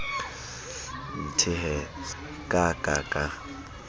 nthe hee ka ka ka